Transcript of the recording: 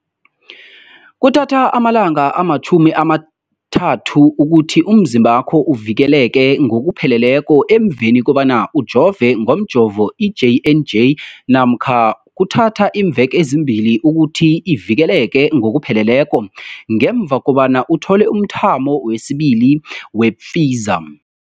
Kuthatha amalanga ama-30 ukuthi umzimbakho uvikeleke ngokupheleleko emveni kobana ujove ngomjovo i-J and J namkha kuthatha iimveke ezimbili ukuthi uvikeleke ngokupheleleko ngemva kobana uthole umthamo wesibili wePfizer.